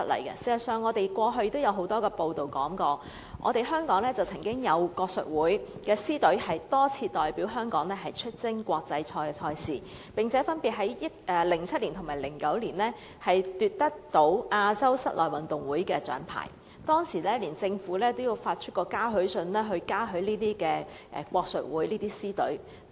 事實上，過去亦有很多報道，香港曾經有國術會的獅隊多次代表香港出征國際賽賽事，並分別於2007年和2009年奪得亞洲室內運動會的獎牌，當時連政府也發出嘉許信，嘉許國術會的獅隊。